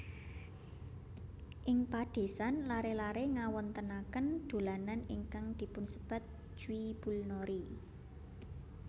Ing padesan laré laré ngawontenaken dolanan ingkang dipunsebat jwibulnori